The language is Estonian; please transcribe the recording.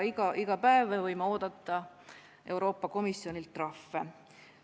Iga päev me võime oodata Euroopa Komisjonilt trahve.